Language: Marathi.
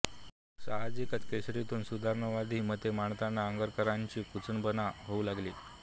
सहाजिकच केसरीतून सुधारणावादी मते मांडताना आगरकरांची कुचंबणा होऊ लागली